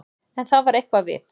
En það var eitthvað við